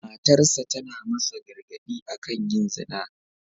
Matarsa ​​tana masa gargad'i akan yin zina.